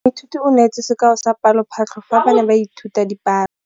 Moithuti o neetse sekaô sa palophatlo fa ba ne ba ithuta dipalo.